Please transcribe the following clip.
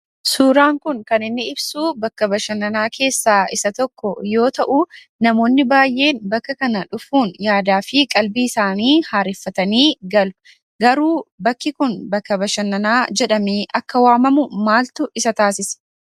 Suuraan kun kan inni ibsuu, bakka bashannanaa keessa isa tokko yoo ta'uu, namoonni baayee bakka kana dhufuun yaadaafi qalbii isaanii haareeffatanii galu. Garuu bakki kun bakka bashannanaa jedhamee akka waamamu maaltu isa taasise?